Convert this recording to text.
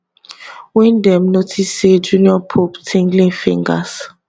wen dem notice say junior pope tinglin fingers